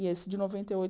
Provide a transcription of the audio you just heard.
E esse de noventa e oito